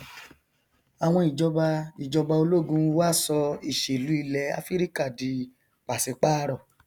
àwọn ìjọba ìjọba ológun wá sọ ìṣèlú ilẹ afirika di pàsípàrọ